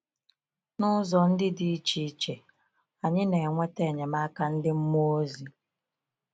N’ụzọ ndị dị iche iche, anyị na-enweta enyemaka ndị mmụọ ozi.